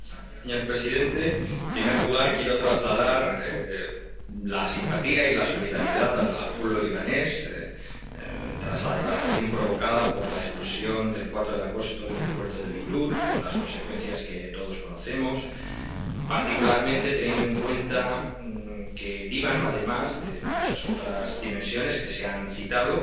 Señor presidente, en primer lugar, quiero trasladar la simpatía y la solidaridad al pueblo libanés tras la devastación provocada por la explosión del 4 de agosto en el puerto de Beirut con las consecuencias que todos conocemos, particularmente teniendo en cuenta que el Líbano —además de muchas otras dimensiones que se han citado—